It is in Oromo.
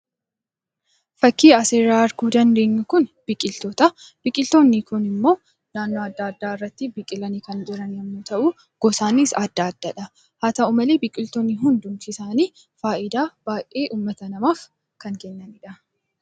Fakiin asirra arguu dandeenyu Kun biqiloota. Biqiltootni Kun immoo naannoo adda addaatti biqilanii kan jiran yemmuu ta'u gosaan adda addadha. Haa ta'u malee hundi isaani namaaf faayidaa kan kennanidha.